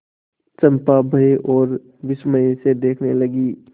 चंपा भय और विस्मय से देखने लगी